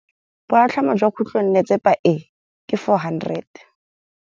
Boatlhamô jwa khutlonnetsepa e, ke 400.